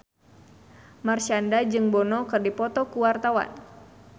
Marshanda jeung Bono keur dipoto ku wartawan